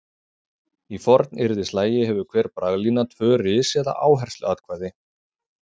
Í fornyrðislagi hefur hver braglína tvö ris eða áhersluatkvæði.